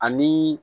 Ani